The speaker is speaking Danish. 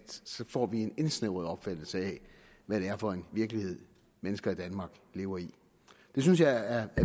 så får vi en indsnævret opfattelse af hvad det er for en virkelighed mennesker i danmark lever i det synes jeg er